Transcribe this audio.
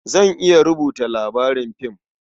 Zan iya rubuta labarin fim.